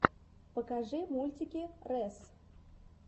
покажи мультики рэс